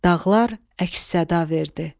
Dağlar əks-səda verdi.